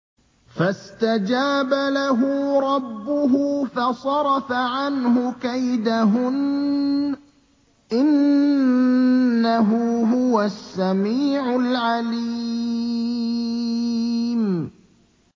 فَاسْتَجَابَ لَهُ رَبُّهُ فَصَرَفَ عَنْهُ كَيْدَهُنَّ ۚ إِنَّهُ هُوَ السَّمِيعُ الْعَلِيمُ